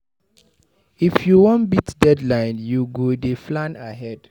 If you wan beat deadline, you go dey plan ahead.